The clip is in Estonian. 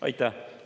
Aitäh!